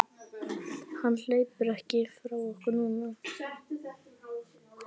Hann hleypur ekki frá okkur núna.